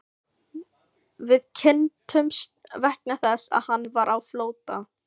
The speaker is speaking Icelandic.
Við kynntumst vegna þess að hann var á flótta.